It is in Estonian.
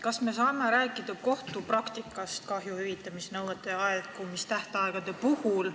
Kas me saame rääkida kohtupraktikast, mis on seotud kahjuhüvitusnõuete aegumise tähtaegadega?